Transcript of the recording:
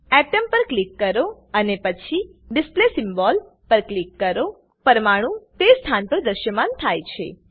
atom પર click કરો અને પછી ડિસ્પ્લે સિમ્બોલ પર ક્લિક કરો અણુ તે સ્થાન પર દ્રશ્યમાન થાય છે